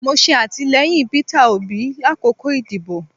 Mo ṣe atilẹyin Peter Obi lakoko idibo